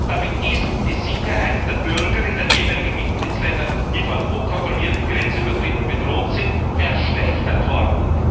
Damit ist die Sicherheit der Bürger in den jeweiligen Mitgliedsländern, die von unkontrollierten Grenzübertritten bedroht sind, verschlechtert worden.